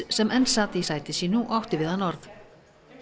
sem enn sat í sæti sínu og átti við hann orð